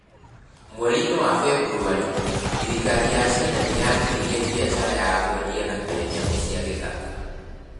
Mweri-inĩ wa Februarĩ, thirikari ya China nĩ yagiririe biacara ya kwendia na kũrĩa nyamũ cia gĩthaka.